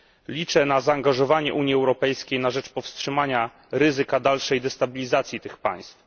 Liczę na zaangażowanie Unii Europejskiej na rzecz powstrzymania ryzyka dalszej destabilizacji tych państw.